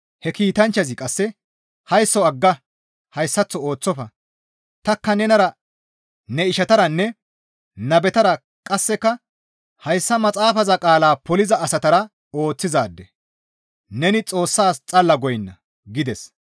He kiitanchchazi qasse, «Haysso agga! Hayssaththo ooththofa! Tanikka nenara ne ishataranne nabetara qasseka hayssa maxaafaza qaala poliza asatara ooththizaade; neni Xoossas xalla goynna» gides.